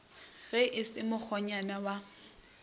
ge e se mokgonyana wa